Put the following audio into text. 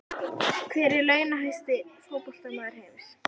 Hver er launahæsti fótboltamaður heims?